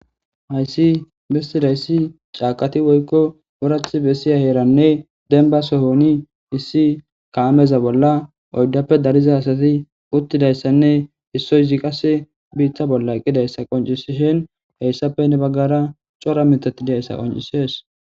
Hayiss besizayiss cakitt woyikko woratti bessiya heeranne dennibba sohonni issi kamezza bolla oyidappe dariza asati uttidayissanne issozzi bita bolla eqqidayissa qonccishinn.heyissappe heni bagara cora miththati dizayissa qonccisses.